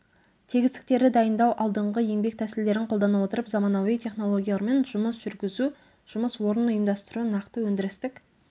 тегістіктерді дайындау алдыңғы еңбек тәсілдерін қолдана отырып заманауи технологиялармен жұмыс жүргізу жұмыс орнын ұйымдастыру нақты өндірістік